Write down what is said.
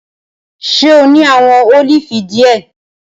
Ṣe o ni awọn olifi diẹ?